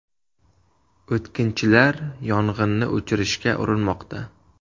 O‘tkinchilar yong‘inni o‘chirishga urinmoqda.